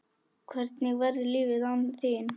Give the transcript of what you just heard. Hvernig verður lífið án þín?